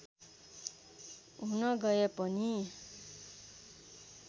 हुन गए पनि